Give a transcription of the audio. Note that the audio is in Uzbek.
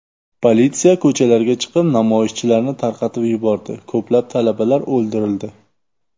Politsiya ko‘chalarga chiqib namoyishchilarni tarqatib yubordi, ko‘plab talabalar o‘ldirildi.